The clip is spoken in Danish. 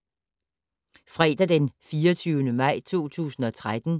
Fredag d. 24. maj 2013